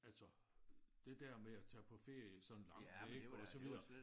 Altså det der med at tage på ferie sådan langt væk og så videre